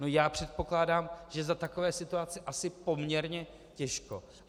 No já předpokládám, že za takové situace asi poměrně těžko.